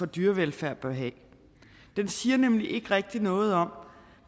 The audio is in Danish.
dyrevelfærd bør have det siger nemlig ikke rigtig noget om